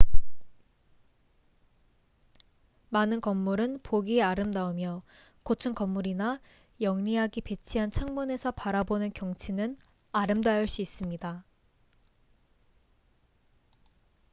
많은 건물은 보기에 아름다우며 고층 건물이나 영리하게 배치한 창문에서 바라보는 경치는 아름다울 수 있습니다